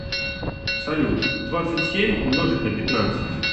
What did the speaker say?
салют двадцать семь умножить на пятнадцать